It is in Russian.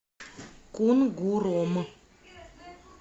кунгуром